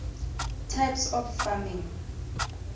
types of farming